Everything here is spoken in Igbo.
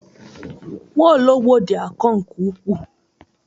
Nwaologbo dị akọ nke ukwuu.